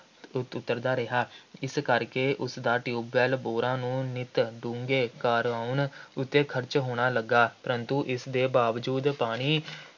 ਉੱਤਰਦਾ ਰਿਹਾ ਜਿਸ ਕਰਕੇ ਉਸਦਾ ਟਿਊਬੈੱਲ ਬੋਰਾਂ ਨੂੰ ਨਿੱਤ ਡੂੰਘੇ ਕਰਵਾਉਣ ਉੱਤੇ ਖਰਚ ਹੋਣਾ ਲੱਗਾ, ਪਰੰਤੂ ਇਸਦੇ ਬਾਵਜੂਦ ਪਾਣੀ